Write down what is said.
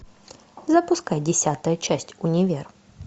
запускай десятую часть универ